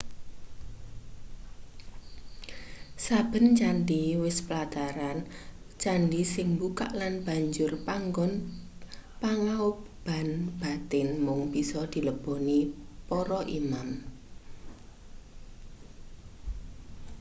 saben candhi wis plataran candhi sing mbukak lan banjur panggon pangaoban batin mung bisa dileboni para imam